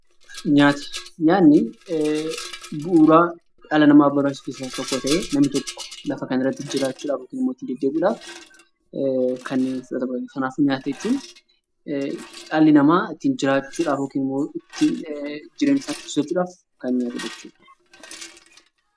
Nyaanni bu'uura dhala namaatiif barbaachisu keessaa Isa tokko ta'ee namni tokko lafa kanarrati jiraachuuf kanneen qaamatti fudhataman fudhateetu dhalli namaa jireenya isaa ittiin dheereffachuudhaaf kan fayyadudha .